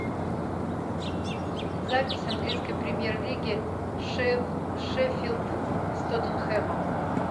запись английской премьер лиги шеффилд с тоттенхэмом